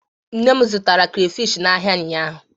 Nne m zụtara krafish n'ahịa ụnyaahụ.